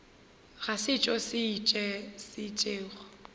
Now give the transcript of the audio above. ga setšo se se itšego